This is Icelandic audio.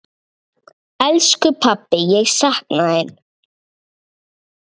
Elsku pabbi, ég sakna þín.